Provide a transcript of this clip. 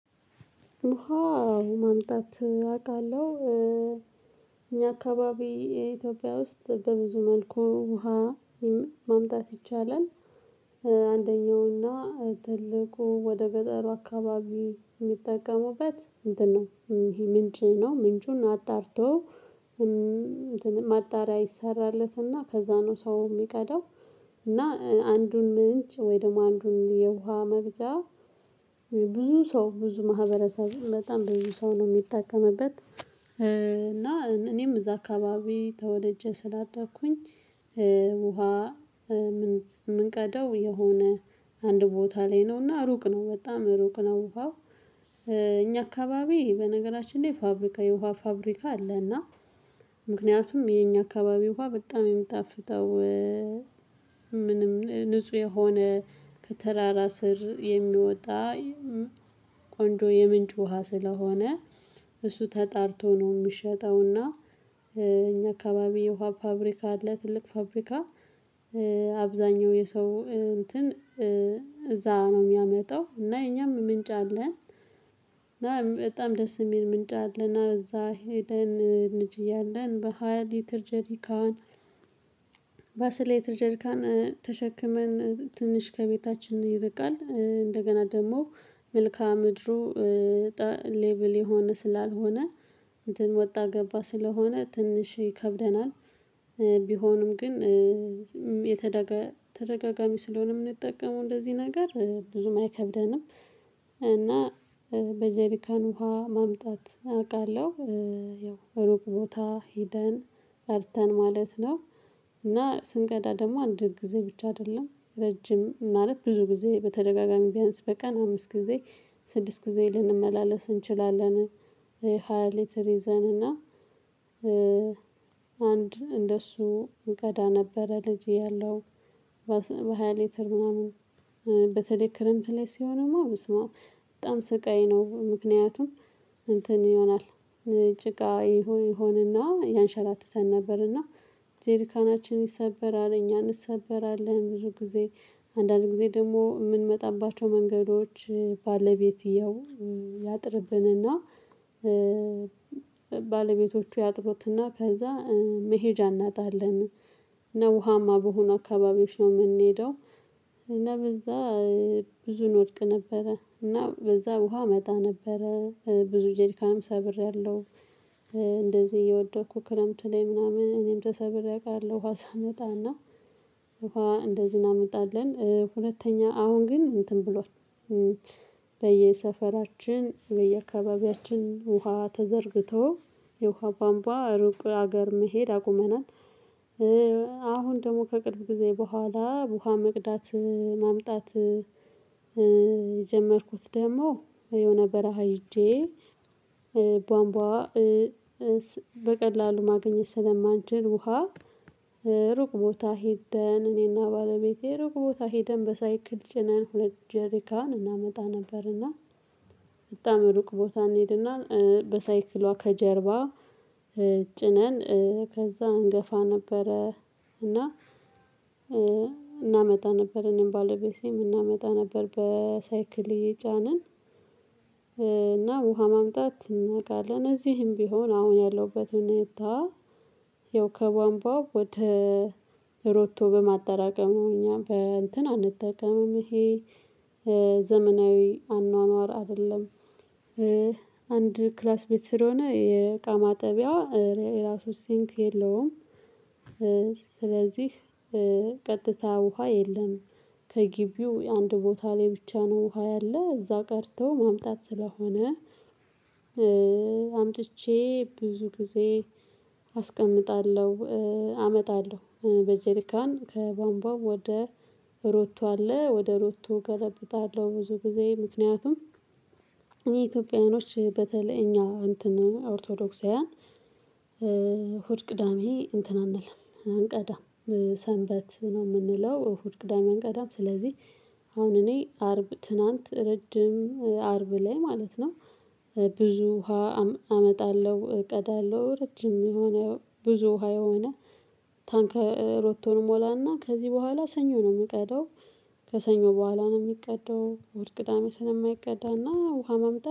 ውሃ ማምጣት አቃለሁ። እኛ አካባቢ የኢትዮጵያ ውስጥ በብዙ መልኩ ውሃ ማምጣት ይቻላል። አንደኛውና ትልቁ ወደ ገጠሩ አካባቢ የሚጠቀሙበት እንትን ነው። ይሄ ምንጭ ነው ምንጩን አጣርቶ ማጣሪያ ይሰራለትና ከዛ ነው ሰው የሚቀዳው። እና አንዱን ምንጭ ወይ ደግሞ አንዱን የውሃ መቅጃ። ብዙ ሰው ብዙ ማህበረሰብ በጣም ብዙ ሰው ነው የሚጠቀምበት እና እኔም እዛ አካባቢ ተወለጄ ስላደኩኝ። ውሃ የምንቀደው የሆነ አንድ ቦታ ላይ ነውና ሩቅ ነው በጣም ሩቅ ነው ውሃው። እኛ አካባቢ በነገራችን ላይ ፋብሪካ የውሃ ፋብሪካ አለና። ምክንያቱም የኛ አካባቢ በጣም የሚጣፍጠው። ምንም ንጹህ የሆነ ከተራራ ስር የሚወጣ። ቆንጆ የምንጭ ውሃ ስለሆነ እሱ ተጣርቶ ነው የሚሸጠው እና። እኛ አካባቢ የውሃ ፋብሪካ አለ ትልቅ ፋብሪካ። አብዛኛው የሰው እንትን እዛ ነው የሚያመጣው እና የኛም ምንጭ አለን። እና በጣም ደስ የሚል ምንጭ አለና እዛ ሄደን ልጅ እያለን በሃያ ሊትር ጀሪካን። በአስር ሊትር ጀሪካን ተሸክመን ትንሽ ከቤታችን ይርቃል እንደገና ደግሞ መልከአ ምድሩ። ሌቭል የሆነ ስላልሆነ እንትን ወጣ ገባ ስለሆነ ትንሽ ይከብደናል። ቢሆንም ግን የተደጋጋሚ ስለሆነ የምንጠቀመው እንደዚህ ነገር ብዙም አይከብደንም። እና በጀሪካን ውሃ ማምጣት አውቃለሁ። ያው ሩቅ ቦታ ሄደን ቀድተን ማለት ነው። እና ስንቀዳ ደግሞ አንድ ጊዜ ብቻ አይደለም ረጅም ማለት ብዙ ጊዜ በተደጋጋሚ ቢያንስ በቀን አምስት ጊዜ ስድስት ጊዜ ልንመላለስ እንችላለን። የሃያ ሊትር ይዘን እና አንድ እንደሱ እንቀዳ ነበረ ልጅ እያለው። በሃያ ሊትር ምናምን በተለይ ክረምት ላይ ሲሆንማ በጣም ስቃይ ነው ምክንያቱም እንትን ይሆናል። ጭቃ ይሁን ይሁንና ያንሻራትተን ነበርና። ጀርካናችን ይሰበራል እኛ እንሰበራለን ብዙ ጊዜ። አንዳንድ ጊዜ ደግሞ የምንመጣባቸው መንገዶች ባለቤትየው ያጥርብንና። ባለቤቶቹ ያጥሩትና ከዛ መሄጃ እናጣለን። እና ውሃማ በሆኑ አካባቢዎች ነው የምንሄደው። እና በዛ ብዙ እንወድቅ ነበረ እና በዛ ውሃ እመጣ ነበረ ብዙ ጀርካንም ሰብሬያለሁ። እንደዚህ እየወደኩ ክረምት ላይ ምናምን እኔም ተሰበሬ አቃለሁ ውሃ ሳመጣ እና። እንኳን እንደዚህ እናመጣለን ሁለተኛ አሁን ግን እንትን ብሏል። በየሰፈራችን በየአካባቢያችን ውሃ ተዘርግቶ የውሃ ቧምቧ ሩቅ ሀገር መሄድ አቁመናል። አሁን ደግሞ ከቅርብ ጊዜ በኋላ ውሃ መቅዳት ማምጣት። የጀመርኩት ደግሞ የሆነ በረሃ ሄጄ። ቧንቧ በቀላሉ ማግኘት ስለማንችል ውሃ ሩቅ ቦታ ሄደን እኔና ባለቤቴ ሩቅ ቦታ ሄደን በሳይክል ጭነን ሁለት ጀሪካን እናመጣ ነበርና። በጣም ሩቅ ቦታ እንሄድና በሳይክሏ ከጀርባ ጭነን ከዛ እንገፋ ነበረ። እና እናመጣ ነበር እኔም ባለቤቴም እናመጣ ነበር በሳይክሌ አየጫንን። እና ውሃ ማምጣት እናውቃለን እዚህም ቢሆን አሁን ያለውበትን ሁኔታ። ይኸው ከቧንቧ ወደ ሮቶ በማጠራቀሙ እኛም በእንትን አንጠቀምም ይሄ ዘመናዊ አኗኗር አይደለም። አንድ ክላስ ቤት ስለሆነ የእቃ ማጠቢያ የራሱ ሲንክ የለውም። ስለዚህ ቀጥታ ውሃ የለም። ከግቢው አንድ ቦታ ላይ ብቻ ነው ውሃ ያለ እዛ ቀድቶ ማምጣት ስለሆነ። አምጥቼ ብዙ ጊዜ አስቀምጣለሁ። አመጣለሁ በዚህ በጀሪካን ከቧንቧ ወደ ሮቶ አለ ወደ ሮቶ ገለብጣለሁ ብዙ ጊዜ ምክንያቱም የኢትዮጵያውያኖች በተለይ እኛ እንትን ኦርቶዶክሳውያን። እሀድ ቅዳሜ እንትን አንልም አንቀዳም። ሰንበት ነው የምንለው እሁድ ቅዳሜ አንቀዳም ስለዚህ። አሁን እኔ አርብ ትናንት ረጅም አርብ ላይ ማለት ነው። ብዙ ውሃ አመጣለሁ እቀዳለሁ ረጅም የሆነ ብዙ ውሃ የሆነ ታንከር ሮቶ እሞላና ከዚህ በኋላ ሰኞ ነው የምቀደው። ከሰኞ በኋላ ነው የሚቀደው እሁድ ቅዳሜ ስለማይቀዳና ውሃ ማምጣት